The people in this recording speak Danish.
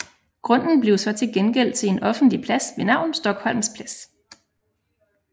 Grunden blev så til gengæld til en offentlig plads ved navn Stockholms Plads